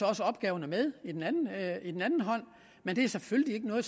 også opgaver med og det er selvfølgelig ikke noget